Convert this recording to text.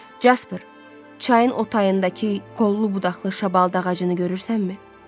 Casper, çayın o tayındakı kollu-budaqlı şam ağacını görürsənmi?